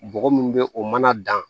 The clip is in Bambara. Bɔgɔ mun bɛ o mana dan